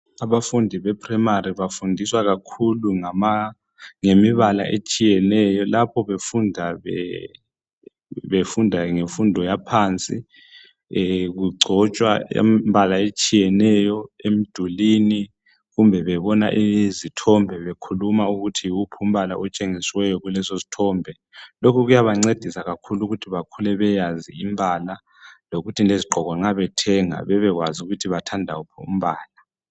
Abafundi be primarily bafundiswa kakhulu ngemibala etshiyeneyo. Lapho befunda ngemfundo yaphansi, kugcotshwa imbala etshiyeneyo emdulini, kumbe bebona izithombe bekhuluma ukuthi yiwuphi umbala otshengisiweyo kuleso sithombe. Lokhu kuyabancedisa kakhulu ukuthi bakhule beyazi imbala, lokuthi lezigqoko nxa bethenga bebekwazi ukuthi bathanda uphi umbala.